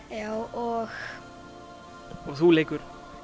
og þú leikur